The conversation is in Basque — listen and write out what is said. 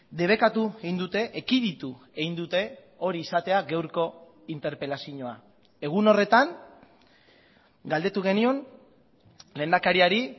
debekatu egin dute ekiditu egin dute hori izatea gaurko interpelazioa egun horretan galdetu genion lehendakariari